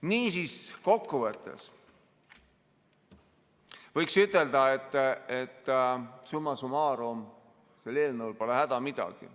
Niisiis, kokkuvõttes võiks ütelda, et summa summarum sel eelnõul pole häda midagi.